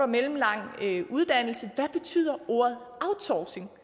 mellemlang uddannelse hvad betyder ordet outsourcing